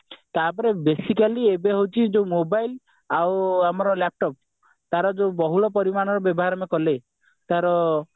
ତାପରେ basically ଏବେ ହେଉଛି ଯୋଉ mobile ଆଉ ଆମର laptop ତାର ଯୋଉ ବହୁଳ ପରିମାଣରେ ବ୍ୟବହାର ଆମେ କଲେ ତାର